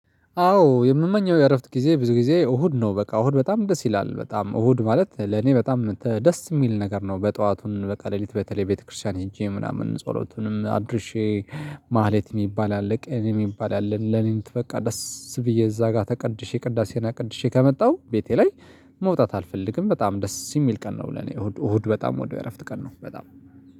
አዎ የምመኘው የእረፍት ጊዜ ብዙ ጊዜ እሁድ ነው በቃ እሁድ በጣም ደስ ይላል በጣም እሁድ ማለት ለኔ በጣም ደስ የሚል ነገር ነው በጧቱን በቃ ሌሊት በተለይ ቤተክርስቲያን ሄጄ ምናምን ጸሎቱንም አድርሼ ማህሌት የሚባል አለ። ቅኔ እሚባል አለ። ሌሊት በቃ ደስ ብዬ እዛ ጋር ተቀድሼ ቅዳሴና ቅድሼ ከመጣሁ ቤቴ ላይ መውጣት አልፈልግም በጣም ደስ የሚል ቀን ነው ለኔ እሁድ በጣም ውድ እረፍት ቀን ነው በጣም